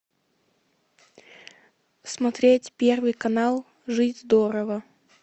смотреть первый канал жить здорово